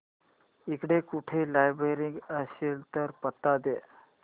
इकडे कुठे लायब्रेरी असेल तर पत्ता दे